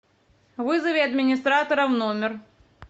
вызови администратора в номер